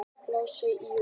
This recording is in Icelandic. Laus í júní